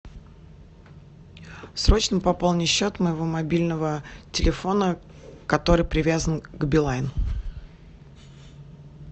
срочно пополни счет моего мобильного телефона который привязан к билайн